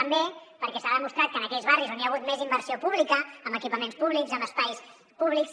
també perquè s’ha demostrat que en aquells barris on hi ha hagut més inversió pública amb equipaments públics amb espais públics